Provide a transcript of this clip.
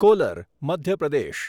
caller Madhya Pradesh